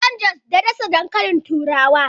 An San jos da ɗasa dankalin turawa a Najeriya.